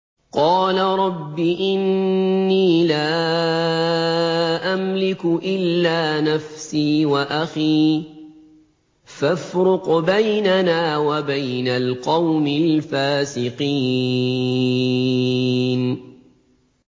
قَالَ رَبِّ إِنِّي لَا أَمْلِكُ إِلَّا نَفْسِي وَأَخِي ۖ فَافْرُقْ بَيْنَنَا وَبَيْنَ الْقَوْمِ الْفَاسِقِينَ